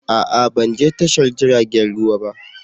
A'a! Ban je tashar jiragen ruwa ba.